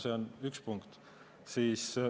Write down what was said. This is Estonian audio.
See on üks punkt.